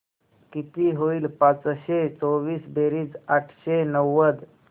किती होईल पाचशे चोवीस बेरीज आठशे नव्वद